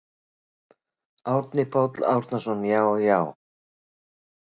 Árni Páll Árnason: Já já.